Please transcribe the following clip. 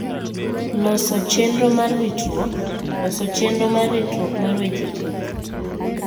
Loso chenro mar ritruok: Loso chenro mar ritruok mar weche thieth